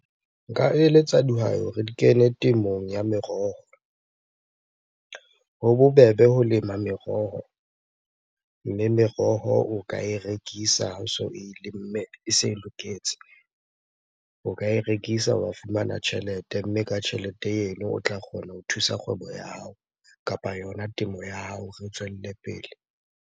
Nka eletsa dihwai ho re di kene temong ya meroho. Ho bobebe ho lema meroho, mme meroho o ka e rekisa. Ha o so e lemme e se loketse, o ka e rekisa wa fumana tjhelete. Mme ka tjhelete eno o tla kgona ho thusa kgwebo ya hao kapa yona temo ya hao hore tswelle pele.